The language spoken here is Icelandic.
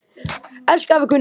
Elsku afi Gunni.